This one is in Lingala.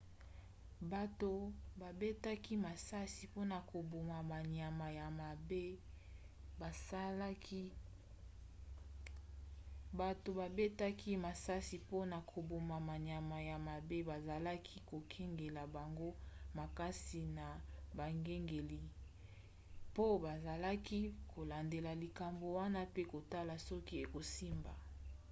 bato babetaki masasi mpona koboma banyama ya mabe bazalaki kokengela bango makasi na bakengeli mpo bazalaki kolandela likambo wana pe kotala soki ekosimba